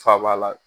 Faba la